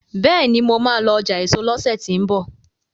béèni mọ má lọ ọjà eso lọsẹ ti n bọ